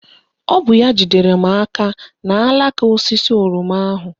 Ọ bụ ya jidere m aka n'alaka osisi oroma ahụ